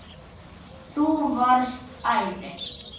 Þú varst æði.